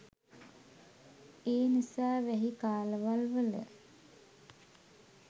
ඒනිසා වැහි කාලවල්වල